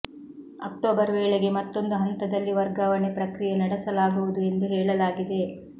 October ವೇಳೆಗೆ ಮತ್ತೊಂದು ಹಂತದಲ್ಲಿ ವರ್ಗಾವಣೆ ಪ್ರಕ್ರಿಯೆ ನಡೆಸಲಾಗುವುದು ಎಂದು ಹೇಳಲಾಗಿದೆ